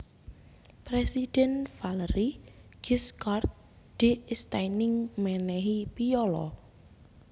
Presidhèn Valéry Giscard d Estaing menehi piyala